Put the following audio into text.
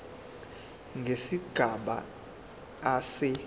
nesigaba a se